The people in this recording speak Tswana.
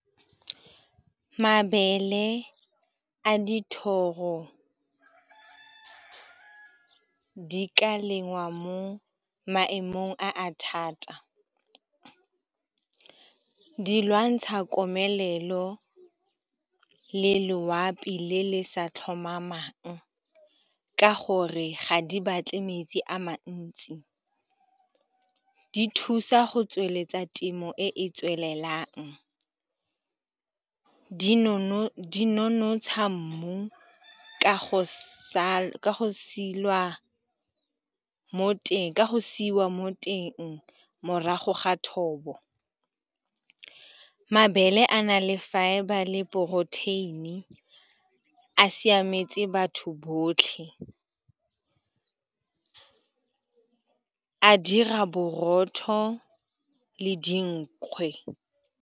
Mabele a dithoro di ka lengwa mo maemong a a thata. Di lwantsha komelelo le loapi le le sa tlhomamang ka gore ga di batle metsi a mantsi. Di thusa go tsweletsa temo e e tswelelang, di nonontsha mmu ka go sa ka siwa mo teng morago ga thobo. Mabele a na le fibre le protein-i a siametse batho botlhe, a dira borotho le dinkgwe.